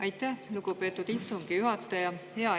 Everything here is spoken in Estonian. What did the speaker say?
Aitäh, lugupeetud istungi juhataja!